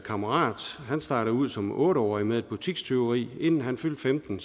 kammerat startede ud som otte årig med et butikstyveri inden han fyldte femten